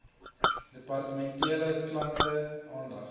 departementele klante aandag